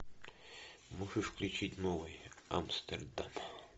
можешь включить новый амстердам